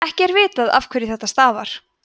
ekki er vitað afhverju þetta stafar